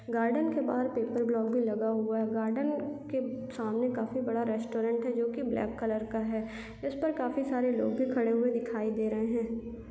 Garden के बाहर paper block भी लगा हुआ है गार्डन के सामने काफी बड़ा रेस्टोरेंट है जोकि ब्लैक कलर का है जिस पर काफी सारे लोग भी खड़े हुए दिखाई दे रहे है।